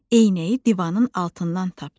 Eynəyi divanın altından tapdı.